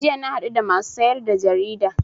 Jiya na haɗu da masu siyar da jarida